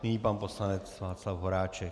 Nyní pan poslanec Václav Horáček.